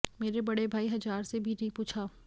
मेरे बड़े भाई हजार से भी नहीं पूछा